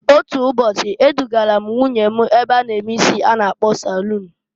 Otu ụbọchị e dụgara m nwunye m na-ebe a na-eke isi a na a-salun.